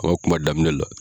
Aw ka kuma daminɛ la.